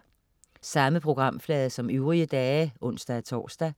Samme programflade som øvrige dage (ons-tors)